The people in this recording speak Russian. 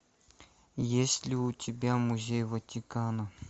есть ли у тебя музей ватикана